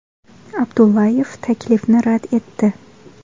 Abdullayev taklifni rad etdi.